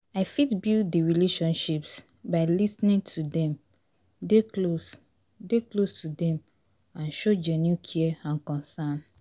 i fit build di relationships by lis ten ing to dem, dey close, dey close to dem and show genuine care and concern.